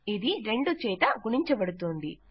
ఇది రెండుచేత గుణించబడుతోంది